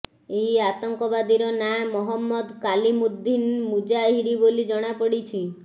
ଏହି ଆତଙ୍କବାଦୀର ନାଁ ମହମ୍ମଦ କାଲିମୁଦ୍ଦିନ୍ ମୁଜାହିରି ବୋଲି ଜଣାପଡ଼ିଛି